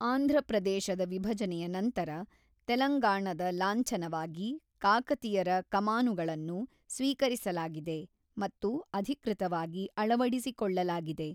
ಆಂಧ್ರಪ್ರದೇಶದ ವಿಭಜನೆಯ ನಂತರ ತೆಲಂಗಾಣದ ಲಾಂಛನವಾಗಿ ಕಾಕತಿಯರ ಕಮಾನುಗಳನ್ನು ಸ್ವೀಕರಿಸಲಾಗಿದೆ ಮತ್ತು ಅಧಿಕೃತವಾಗಿ ಅಳವಡಿಸಿಕೊಳ್ಳಲಾಗಿದೆ.